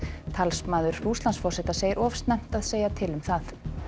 talsmaður Rússlandsforseta segir of snemmt að segja til um það